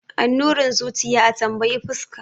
Annurin zuciya a tambayi fuska.